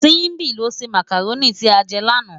Simbi ló sé mákáróni ti á jè làná